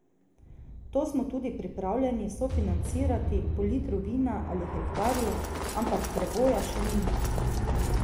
To smo tudi pripravljeni sofinancirati po litru vina ali hektarju, ampak preboja še ni.